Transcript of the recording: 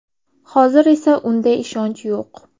Hozir esa unday ishonch yo‘q.